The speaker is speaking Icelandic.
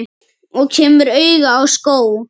Og kemur auga á skó.